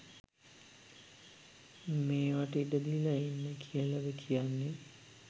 මේවට ඉඩදීලා ඉන්න කියලද කියන්නේ